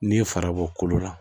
N'i ye farabɔ kolo la